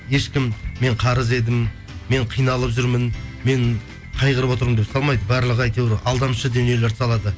ешкім мен қарыз едім мен қиналып жүрмін мен қайғырып отырмын деп салмайды барлығы әйтеуір алдамшы дүниелерді салады